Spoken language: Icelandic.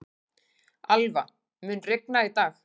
Alva, mun rigna í dag?